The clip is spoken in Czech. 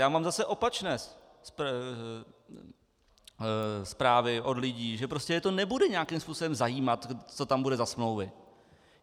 Já mám zase opačné zprávy od lidí, že prostě je to nebude nějakým způsobem zajímat, co tam bude za smlouvy.